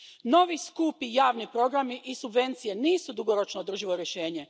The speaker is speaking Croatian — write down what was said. Novi skupi javni programi i subvencije nisu dugoročno održivo rješenje.